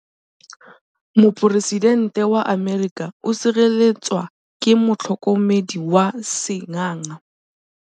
Poresitêntê wa Amerika o sireletswa ke motlhokomedi wa sengaga.